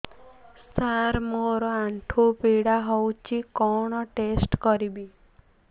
ସାର ମୋର ଆଣ୍ଠୁ ପୀଡା ହଉଚି କଣ ଟେଷ୍ଟ କରିବି